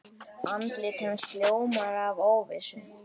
Andlit hans ljómar af óvissu.